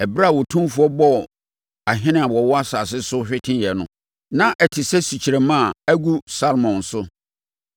Ɛberɛ a Otumfoɔ bɔɔ ahene a wɔwɔ asase no so hweteeɛ no, na ɛte sɛ sukyerɛmma a agu Salmon so.